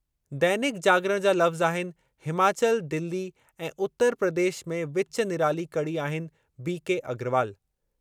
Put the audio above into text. दैनिक जागरण जा लफ़्ज़ आहिनि हिमाचल, दिल्ली ऐं उतर प्रदेश में विचु निराली कड़ी आहिनि बी के अग्रवाल।